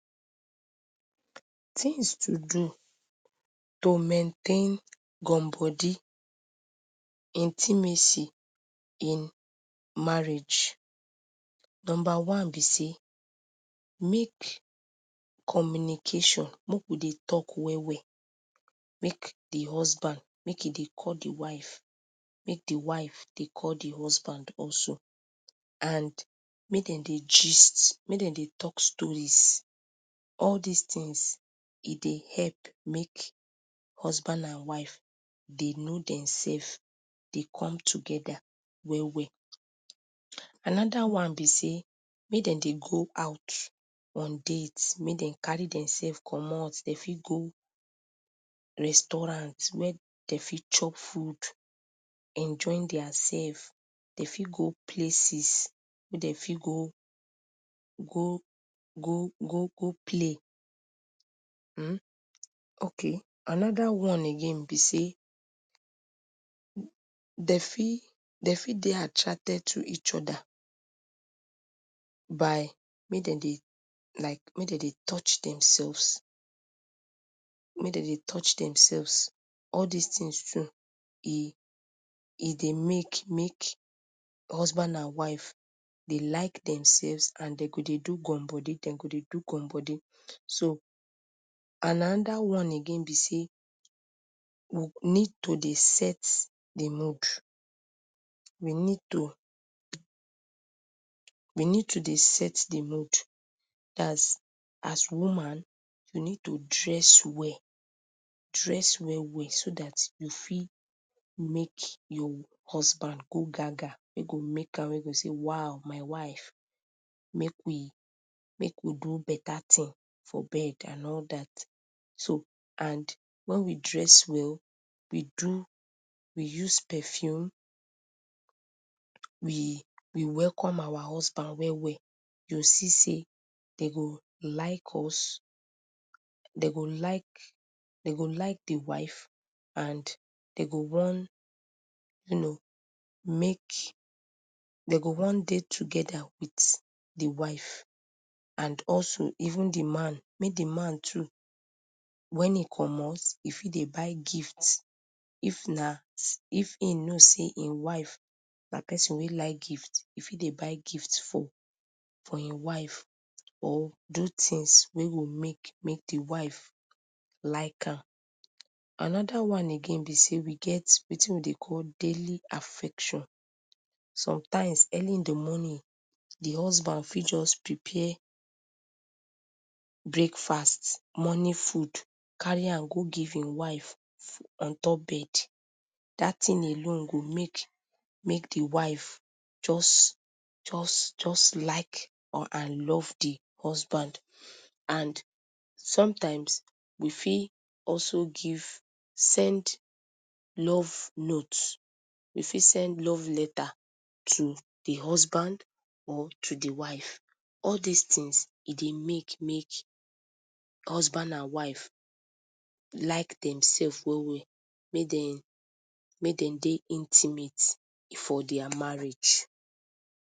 Things to do to maintain gum body, intimacy in marriage. Number one be sey make communication, make we dey talk well well. Make the husband make e dey call the wife, make de wife dey call the husband also. And make demdey gist, make demdey talk stories. All these things e dey help make husband and wife dey know themselves dey come together well well. Another one be sey, make demdey go out on dates. Make dem carry themselves comot; dem fit go restaurants where dey fit chop food enjoy their selves. They fit go places weydey fit go gogogogo play um. Okay! Another one again be dry dey fit dey attracted to eachother by make demdey like make dem dey touch themselves make demdey touch themselves. All these things too e dey make make husband and wife dey like themselves and dem go dey do gum body, dem go dey do gum body. So and another one again be say we need to dey set the mood. We need to we need to dey set the mood. That is as woman, you need to dress well, drew well well so that e fit make your husband go gaga wey go make am say waoh my wife make we do beta thing for bed and all that. so and, when we dress well we do, we use perfume we we welcome our husband well well, you go see dey, dem go like us dem go like, dey go like the wife and dey go wan, you know make, dey go wan dey together with the wife and also even the man, make the man too when im comot, him fit dey buy gift. If im know seyim wife na person wey like gift e fit dey buy gift for for Im wife or do things wey go make make de wife like am. Another one be sey we get wetin we dey call daily affection. sometimes early on the morning de husband fit just prepare breakfast, morning food carry am go give im wife on top bed. That thing alone go make make de wife just just like or and love d husband and sometimes we fit also give send love note, you fit send love letter to the husband or to the wife. All these things e dey make make husband and wife like themselves well well, make dem make demdey intimate for their marriage.